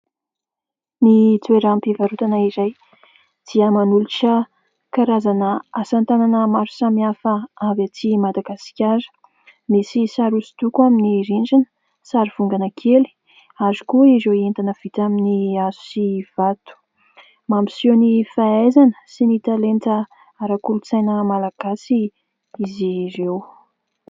Ny toeram-pivarotana iray dia manolotra karazana asa tanana maro samihafa avy aty Madagasikara. Misy sary hoso-doko amin'ny rindrina sary vongana kely ary koa ireo entana vita amin'ny hazo sy vato. Mampiseho ny fahaizana sy ny talenta arak'olotsaina malagasy izy ireo.